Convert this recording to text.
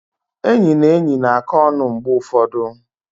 Enyi na enyi na-akọ ọnụ mgbe ụfọdụ.